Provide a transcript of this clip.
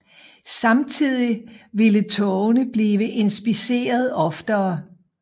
Samtidig ville togene blive inspiceret oftere